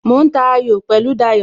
Mo ń ta ayò pẹ̀lú Dayo